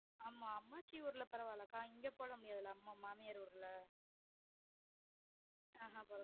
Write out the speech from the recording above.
ஆமா அம்மாச்சி ஊர்ல பரவாலக்கா இங்க போட முடியதில்ல மாமியாரு ஊருல